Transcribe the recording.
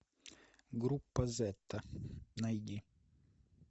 группа зета найди